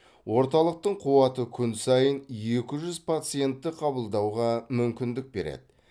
орталықтың қуаты күн сайын екі жүз пациентті қабылдауға мүмкіндік береді